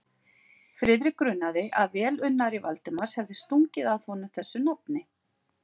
Friðrik grunaði, að velunnari Valdimars hefði stungið að honum þessu nafni.